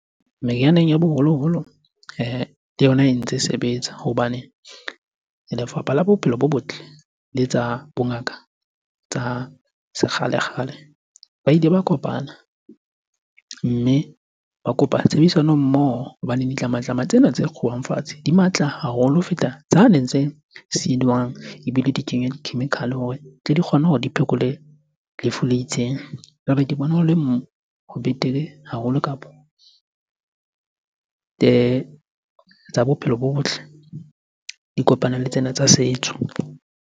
Merianeng ya boholoholo le yona e ntse e sebetsa hobane lefapha la bophelo bo botle le tsa bongaka tsa sekgale-kgale. Ba ile ba kopana mme ba kopa tshebedisano mmoho hobaneng ditlamatlama tsena tse kguwang fatshe di matla haholo ho feta tsane tse silwang ebile di kenywe di-chemical-e hore tle di kgone hore di phekole lefu le itseng. Jwale ke bona ho le betere haholo kapo tsa bophelo bo botle di kopane le tsena tsa setso.